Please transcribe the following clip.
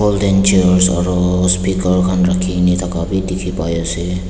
aru speaker khan rakhi na thakia bhi dikhi ase.